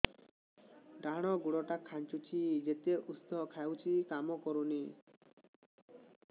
ଡାହାଣ ଗୁଡ଼ ଟା ଖାନ୍ଚୁଚି ଯେତେ ଉଷ୍ଧ ଖାଉଛି କାମ କରୁନି